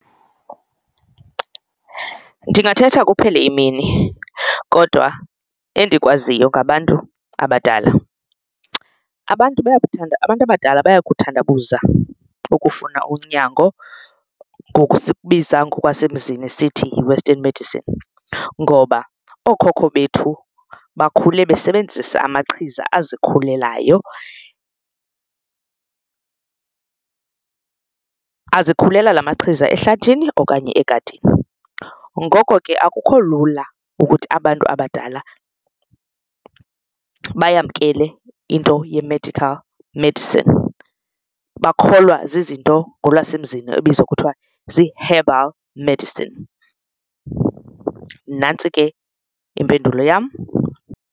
Ndingathetha kuphele imini kodwa endikwaziyo ngabantu abadala abantu bayakuthanda abantu abadala bayakuthandabuza ukufuna unyango ngoku sikubiza ngokwasemzini sithi yi-western medicine, ngoba ookhokho bethu bakhule besebenzisa amachiza azikhulelayo azikhulela la machiza ehlathini okanye egadini. Ngoko ke akukho lula ukuthi abantu abadala bayamkele into ye-medical medicine bakholwa zizinto ngolwasemzini ebizwa kuthiwa zii-herbal medicine nantsi ke impendulo yam.